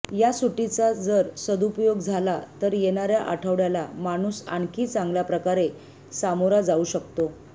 या सुट्टीचा जर सदुपयोग झाला तर येणाऱ्या आठवड्याला माणूस आणखी चांगल्याप्रकारे सामोरा जाऊ शकतो